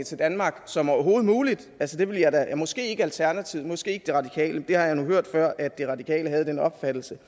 til danmark som overhovedet muligt ja måske ikke alternativet og måske ikke de radikale jeg har nu hørt før at de radikale havde den opfattelse